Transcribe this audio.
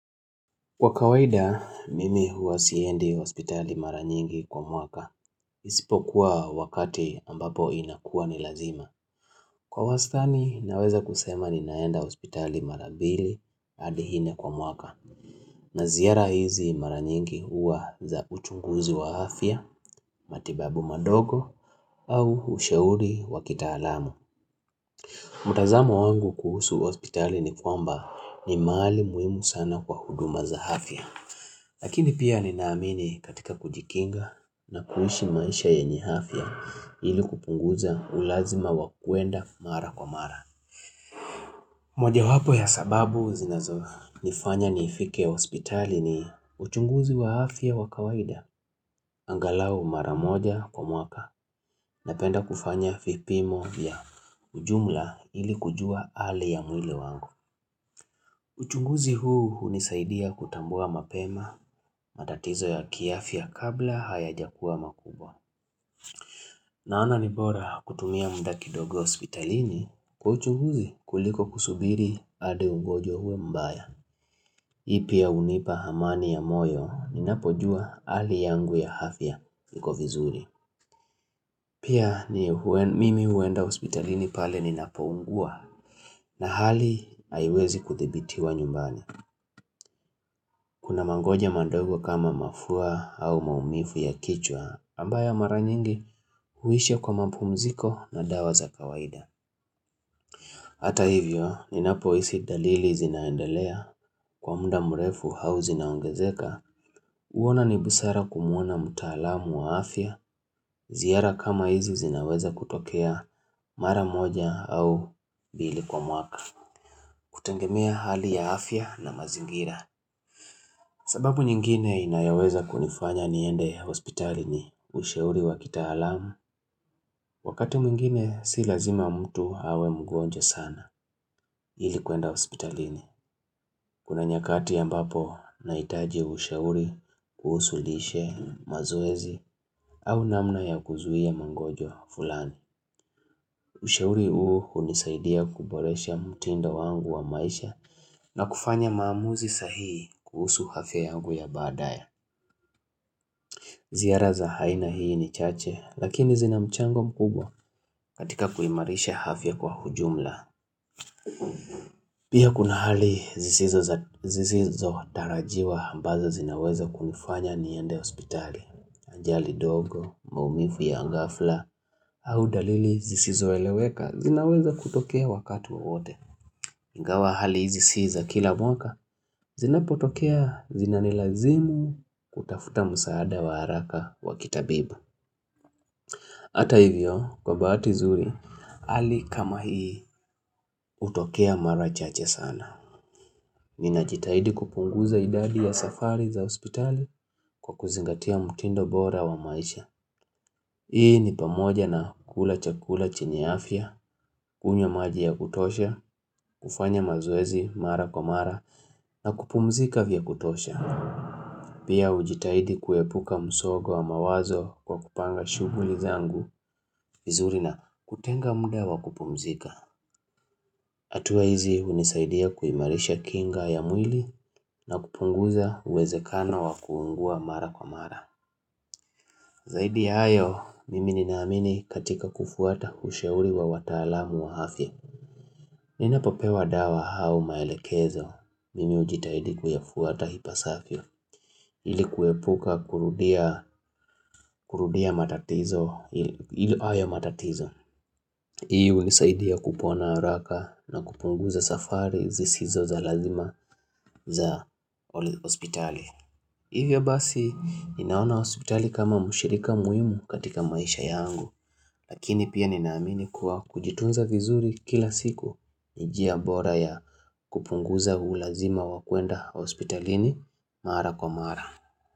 Kwa kawaida, mimi huwa siendi hospitali mara nyingi kwa mwaka, isipo kuwa wakati ambapo inakuwa ni lazima. Kwa wastani, naweza kusema ninaenda hospitali mara mbili hadi nne kwa mwaka, na ziara hizi mara nyingi huwa za uchunguzi wa afya, matibabu madogo, au ushauri wa kitaalamu. Mtazamo wangu kuhusu hospitali ni kwamba ni mahali muhimu sana kwa huduma za afya. Lakini pia ninaamini katika kujikinga na kuishi maisha yenye afya ili kupunguza ulazima wa kuenda mara kwa mara. Moja wapo ya sababu zinazonifanya nifike hospitali ni uchunguzi wa afya wa kawaida. Angalau mara moja kwa mwaka napenda kufanya vipimo vya ujumla ili kujua hali ya mwili wangu. Uchunguzi huu hunisaidia kutambua mapema, matatizo ya kiafya kabla hayajakuwa makubwa. Naona ni bora kutumia muda kidogo hospitalini, kwa uchunguzi kuliko kusubiri hadi ugonjwa huwe mbaya. Hii pia hunipa amani ya moyo, ninapojua hali yangu ya afya, iko vizuri. Pia mimi huenda hospitalini pale ninapoungua, na hali haiwezi kuthibitiwa nyumbani. Kuna magonjwa mandogo kama mafua au maumivu ya kichwa, ambayo mara nyingi huisha kwa mapumziko na dawa za kawaida. Hata hivyo, ninapohisi dalili zinaendelea, kwa muda mrefu au zinaongezeka, huona ni busara kumwona mtaalamu wa afya, ziara kama hizi zinaweza kutokea mara moja au mbili kwa mwaka, kutegemea hali ya afya na mazingira. Sababu nyingine inayoweza kunifanya niende hospitali ni ushauri wa kitaalamu, wakati mwingine si lazima mtu awe mgonjwa sana ili kuenda hospitalini. Kuna nyakati ambapo nahitaji ushauri kuhusu lishe, mazoezi au namna ya kuzuia magonjwa fulani. Ushauri huu hunisaidia kuboresha mtindo wangu wa maisha na kufanya maamuzi sahii kuhusu afya yangu ya baadaye. Ziara za aina hii ni chache, lakini zina mchango mkubwa katika kuimarisha afya kwa ujumla. Pia kuna hali zisizotarajiwa ambazo zinaweza kunifanya niende ospitali. Ajali ndogo, maumivu ya ghafla, au dalili zisizoeleweka, zinaweza kutokea wakati wowote. Ingawa hali hizi si za kila mwaka, zinapotokea zinanilazimu kutafuta msaada wa haraka wa kitabibu. Hata hivyo, kwa bahati nzuri, hali kama hii hutokea mara chache sana. Ninajitahidi kupunguza idadi ya safari za hospitali kwa kuzingatia mtindo bora wa maisha. Hii ni pamoja na kula chakula chenye afya, kunywa maji ya kutosha, kufanya mazoezi mara kwa mara, na kupumzika vya kutosha. Pia hujitahidi kuepuka msongo wa mawazo kwa kupanga shughuli zangu, vizuri na kutenga muda wa kupumzika. Hatua hizi hunisaidia kuimarisha kinga ya mwili na kupunguza uwezekano wa kuugua mara kwa mara. Zaidi ya hayo, mimi ninaamini katika kufuata ushauri wa wataalamu wa afya. Ninapopewa dawa au maelekezo, mimi hujitahidi kuyafuata ipasavyo, ili kuepuka kurudia matatizo, hayo matatizo. Hii hunisaidia kupona haraka na kupunguza safari zisizo za lazima za hospitali Hivyo basi ninaona hospitali kama mshirika muhimu katika maisha yangu Lakini pia ninaamini kuwa kujitunza vizuri kila siku ni njia bora ya kupunguza ulazima wa kwenda hospitalini mara kwa mara.